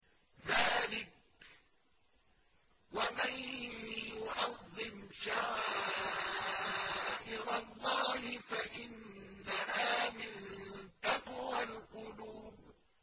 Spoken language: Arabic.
ذَٰلِكَ وَمَن يُعَظِّمْ شَعَائِرَ اللَّهِ فَإِنَّهَا مِن تَقْوَى الْقُلُوبِ